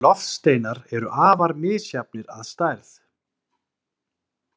En loftsteinar eru afar misjafnir að stærð.